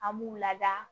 An b'u lada